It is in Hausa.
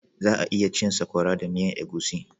Za 'a iya cin Sakwara da miyan egusi.